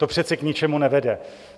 To přece k ničemu nevede.